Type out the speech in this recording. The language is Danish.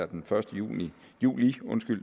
den første juli